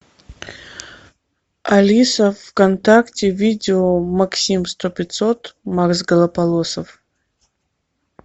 алиса вконтакте видео максим сто пятьсот макс голополосов